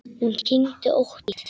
Hún kyngdi ótt og títt.